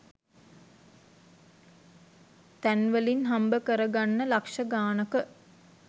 තැන්වලින් හම්බ කරගන්න ලක්ෂ ගානක